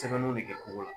Sɛbɛnniw de kɛ ko la